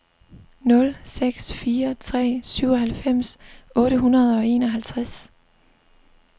nul seks fire tre syvoghalvfems otte hundrede og enoghalvtreds